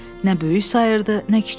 Nə böyük sayırdı, nə kiçik.